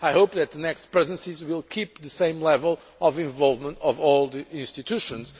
I hope that the next Presidencies will keep the same level of involvement of all the institutions.